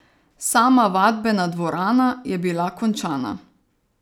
Sama vadbena dvorana je bila končana.